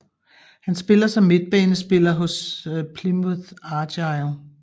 Han spiller som midtbanespiller hos Plymouth Argyle